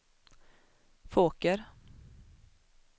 Fåker